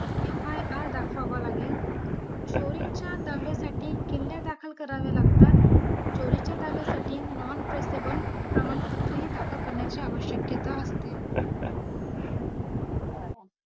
FIR दाखवावा लागेल चोरीच्या दावासाठी किल्ल्या दाखल कराव्या लागतात चोरीच्या दाव्यासाठी non traceable प्रमाणपत्र ही दाखल करण्याची आवश्यकता असते